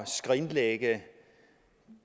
skrinlægge